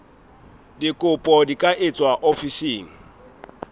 dikopo di ka etswa ofising